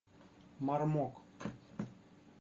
мармок